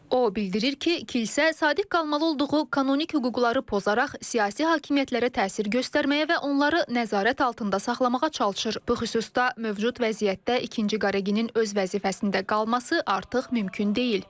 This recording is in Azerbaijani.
O bildirir ki, kilsə sadiq qalmalı olduğu kanonik hüquqları pozaraq siyasi hakimiyyətlərə təsir göstərməyə və onları nəzarət altında saxlamağa çalışır, bu xüsusda mövcud vəziyyətdə ikinci Qareginin öz vəzifəsində qalması artıq mümkün deyil.